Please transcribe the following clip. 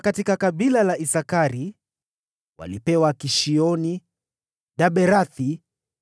kutoka kabila la Isakari walipewa, Kishioni, Daberathi,